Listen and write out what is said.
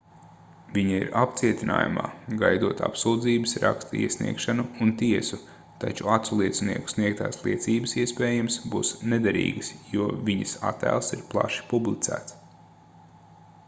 viņa ir apcietinājumā gaidot apsūdzības raksta iesniegšanu un tiesu taču aculiecinieku sniegtās liecības iespējams būs nederīgas jo viņas attēls ir plaši publicēts